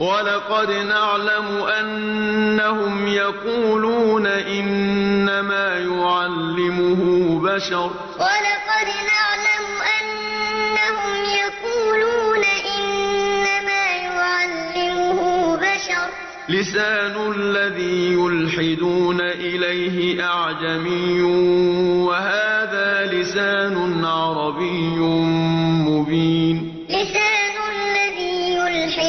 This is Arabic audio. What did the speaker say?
وَلَقَدْ نَعْلَمُ أَنَّهُمْ يَقُولُونَ إِنَّمَا يُعَلِّمُهُ بَشَرٌ ۗ لِّسَانُ الَّذِي يُلْحِدُونَ إِلَيْهِ أَعْجَمِيٌّ وَهَٰذَا لِسَانٌ عَرَبِيٌّ مُّبِينٌ وَلَقَدْ نَعْلَمُ أَنَّهُمْ يَقُولُونَ إِنَّمَا يُعَلِّمُهُ بَشَرٌ ۗ لِّسَانُ الَّذِي يُلْحِدُونَ